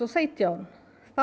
og sautján